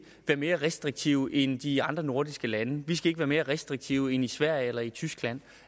være mere restriktive end de andre nordiske lande vi skal ikke være mere restriktive end i sverige eller i tyskland